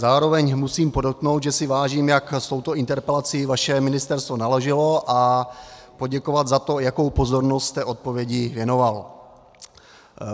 Zároveň musím podotknout, že si vážím, jak s touto interpelací vaše ministerstvo naložilo, a poděkovat za to, jakou pozornost jste odpovědi věnoval.